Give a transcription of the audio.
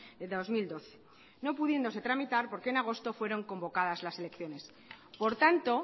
de dos mil doce no pudiéndose tramitar porque en agosto fueron convocadas las elecciones por tanto